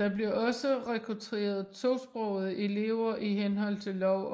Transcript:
Der bliver også rekruteret tosprogede elever i henhold til lov